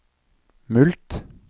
mulkt